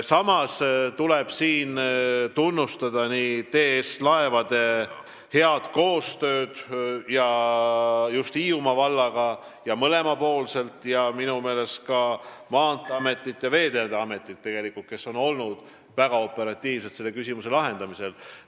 Samas tuleb tunnustada TS Laevade head koostööd Hiiumaa vallaga ning minu meelest ka Maanteeametit ja Veeteede Ametit, kes on olnud väga operatiivsed selle küsimuse lahendamisel.